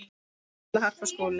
Halla, Harpa og Skúli.